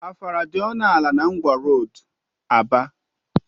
Afufara dị ọnụ ala na ngwa roodu ABA